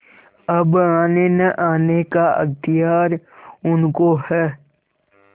अब आनेनआने का अख्तियार उनको है